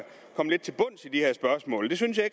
komme lidt til bunds i de her spørgsmål det synes jeg